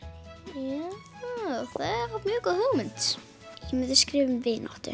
já það er mjög góð hugmynd ég myndi skrifa um vináttu